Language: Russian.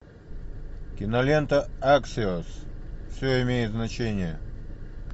кинолента аксиос все имеет значение